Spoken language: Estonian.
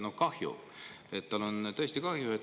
Kahju, tal on tõesti kahju.